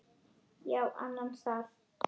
Já, annan stað.